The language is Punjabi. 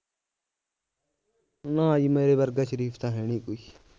ਨਾ ਜੀ ਮੇਰੇ ਵਰਗਾ ਸ਼ਰੀਫ ਤਾਂ ਹੈ ਨਹੀਂ ਕੋਈ